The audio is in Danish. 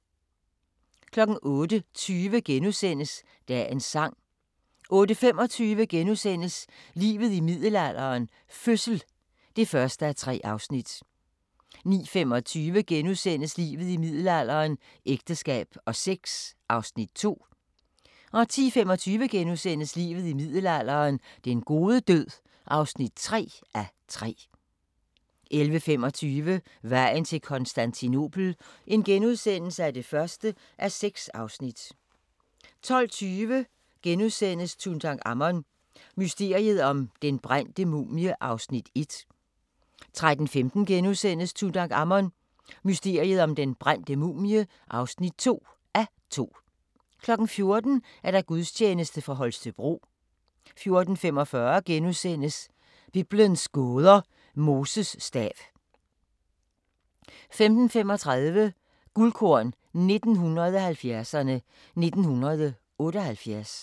08:20: Dagens sang * 08:25: Livet i middelalderen – fødsel (1:3)* 09:25: Livet i middelalderen – ægteskab og sex (2:3)* 10:25: Livet i middelalderen – den gode død (3:3)* 11:25: Vejen til Konstantinopel (1:6)* 12:20: Tutankhamun – mysteriet om den brændte mumie (1:2)* 13:15: Tutankhamun: Mysteriet om den brændte mumie (2:2)* 14:00: Gudstjeneste fra Holstebro 14:45: Biblens gåder – Moses stav * 15:35: Guldkorn 1970'erne: 1978